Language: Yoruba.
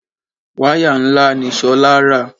Wáyà ńlá ni Ṣolá rà.